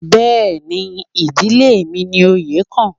Bẹ́ẹ̀ni, ìdílé mi ni oyè kàn